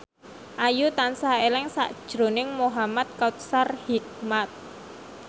Ayu tansah eling sakjroning Muhamad Kautsar Hikmat